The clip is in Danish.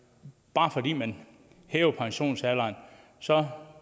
bare fordi man hæver pensionsalderen så